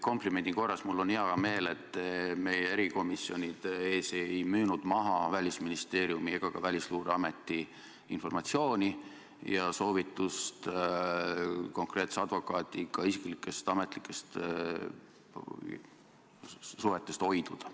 Komplimendi korras: mul on hea meel, et te meie erikomisjonide ees ei müünud maha Välisministeeriumi ega ka Välisluureameti informatsiooni ja soovitust konkreetse advokaadiga isiklikest ametlikest suhetest hoiduda.